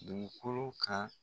Dugukolo kan.